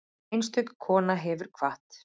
Einstök kona hefur kvatt.